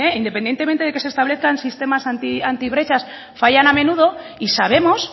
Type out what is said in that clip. independientemente de que se establezcan sistemas antibrechas fallan a menudo y sabemos